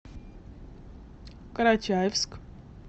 карачаевск